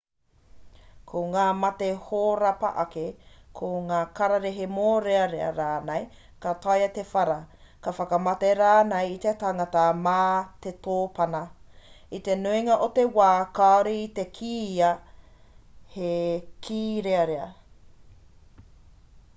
ko ngā mate hōrapa ake ko ngā kararehe mōrearea rānei ka taea te whara te whakamate rānei i te tangata mā te tōpana i te nuinga o te wā kāore i te kīia he kīrearea